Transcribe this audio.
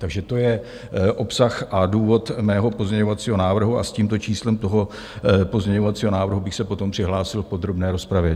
Takže to je obsah a důvod mého pozměňovacího návrhu a s tímto číslem toho pozměňovacího návrhu bych se potom přihlásil v podrobné rozpravě.